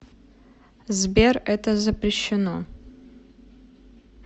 сбер это запрещено